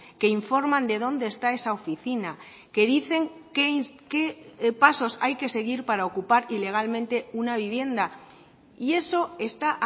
que informan de dónde está esa oficina que dicen qué pasos hay que seguir para ocupar ilegalmente una vivienda y eso está